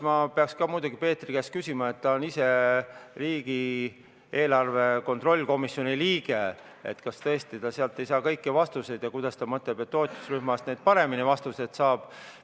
Ma peaks ka muidugi Peetri käest küsima, ta on ise riigieelarve kontrolli erikomisjoni liige, et kas tõesti ta sealt ei saa kõiki vastuseid ja kuidas ta mõtleb seda, et ta toetusrühmast neid vastuseid paremini saab.